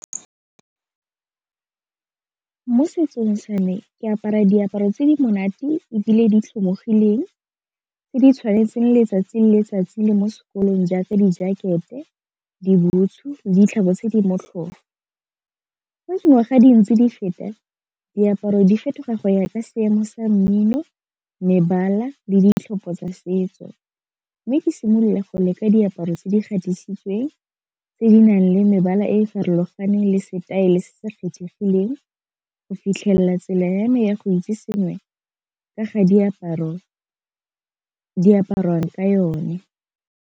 Mo setsong sa me ke apara diaparo tse di monate ebile di tlhomologileng tse di tshwanetseng letsatsi le letsatsi le mo sekolong jaaka di-jacket-e, dibutshu le ditlhako tse di motlhofo. Fa dingwaga di ntse di feta diaparo di fetoga go ya ka seemo sa mmino, mebala le ditlhopho tsa setso mme ke simolola go leka diaparo tse di kgabisitsweng tse di nang le mebala e e farologaneng le setaele se se kgethegileng go fitlhelela tsela ya me ya go itse sengwe ka ga diaparo di apariwang ka yone.